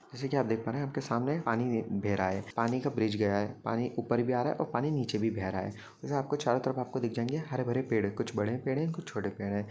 जैसे आप देख पा रहे है आपके सामने पानी वी बेह रहा है पानी का ब्रिज गया है पानी ऊपर भी आ रहा है और पानी नीचे भी बेह रहा है वैसे आपको चारों तरफ़ आपको दिख जाएंगे हरेभरे पड़े है कुछ बड़े पेड़ है कुछ छोटे पेड़ हैं।